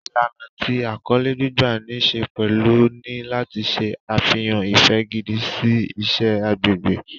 Ìlànà tí àkọlé gbígbà ní ṣe pẹ̀lú ni láti ṣe àfihàn ìfẹ́ gidi sí iṣẹ́ agbègbè.